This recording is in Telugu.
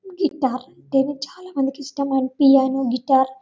ఈ టార్టెన్ చాలా మందికి ఇష్టం పియానో గిటార్ --